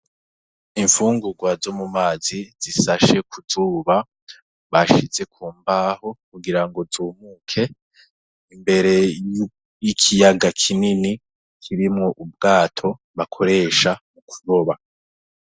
Imfungurwa zo mu mazi zishashe ku zuba, bashize ku mbaho kugira ngo zumuke imbere y'ikiyaga kinini kirimwo ubwato bakoresha mu kuroba.